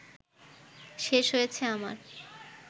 শেষ হয়েছে আমার